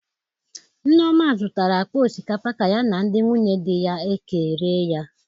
Nneoma zụtara akpa osikapa ka ya na ndị nwunye di ya ekerịe ya